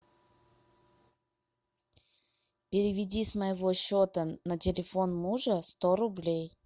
переведи с моего счета на телефон мужа сто рублей